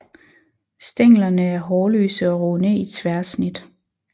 Stænglerne er hårløse og runde i tværsnit